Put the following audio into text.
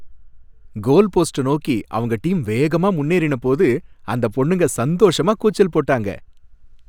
கோல் post நோக்கி அவங்க team வேகமா முன்னேறின போது அந்தப் பொண்ணுங்க சந்தோஷமா கூச்சல் போட்டாங்க.